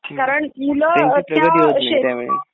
त्यांची प्रगति होत नहीं त्या मुळे